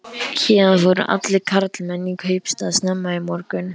Héðan fóru allir karlmenn í kaupstað snemma í morgun.